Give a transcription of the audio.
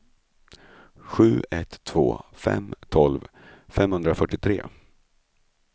sju ett två fem tolv femhundrafyrtiotre